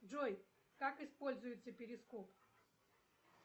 джой как используется перископ